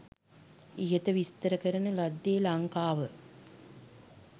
ඉහත විස්තර කරන ලද්දේ ලංකාව